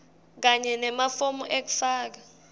kanye nemafomu ekufaka